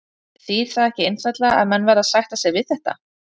Þýðir það ekki einfaldlega að menn verði að sætta sig við þetta?